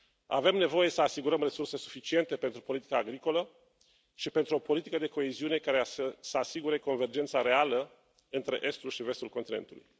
Avem nevoie să asigurăm resurse suficiente pentru politica agricolă și pentru o politică de coeziune care să asigure convergența reală între estul și vestul continentului.